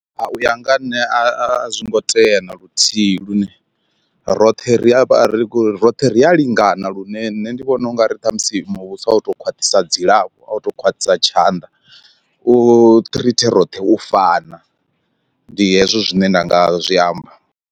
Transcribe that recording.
U ya nga ha nṋe a zwi ngo tea na luthihi lune roṱhe ri a ringo roṱhe ri a lingana lune nṋe ndi vhona ungari ṱhamusi muvhuso a u to khwaṱhisa dzilafho a u to khwaṱhisa tshanḓa, u ṱhrithe roṱhe u fana ndi hezwo zwine nda nga zwi amba.